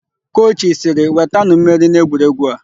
Kochi sịrị, "wetanụ mmeri n'egwuregwu a"!